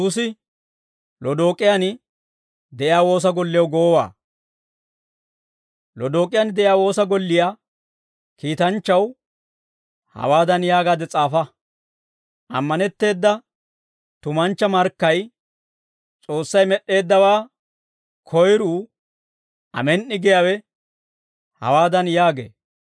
Lodook'iyaan de'iyaa woosa golliyaa kiitanchchaw hawaadan yaagaade s'aafa: «Ammanetteeda tumanchcha markkay, S'oossay med'd'eeddawaa koyruu, Amen"i giyaawe hawaadan yaagee.